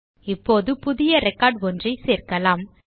இப்போது புதிய ரெக்கார்ட் ஒன்றை சேர்க்கலாம்